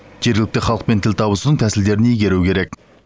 жергілікті халықпен тіл табысудың тәсілдерін игеру керек